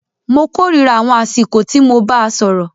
Mó kòrira àwọn àsìkò tí mo bàá sọ̀rọ̀.